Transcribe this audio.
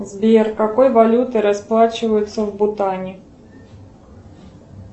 сбер какой валютой расплачиваются в бутане